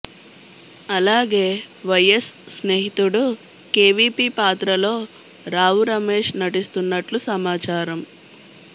అలాగే వైఎస్ స్నేహితుడు కేవీపీ పాత్రలో రావు రమేష్ నటిస్తున్నట్లు సమాచారం